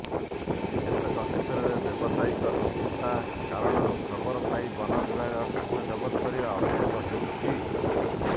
କେତେକ କ୍ଷେତ୍ରରେ ବ୍ୟବସାୟିକ ଶତ୍ରୁତା କାରଣରୁ ଖବର ପାଇ ବନ ବିଭାଗ କାଠ ଜବତ କରିବା ଅଭିଯୋଗ ହେଉଛି